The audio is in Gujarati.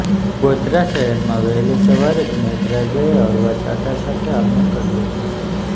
ગોધરા શહેરમાં વહેલી સવારે જ મેઘરાજાએ હળવા છાંટા સાથે આગમન કર્યુ હતું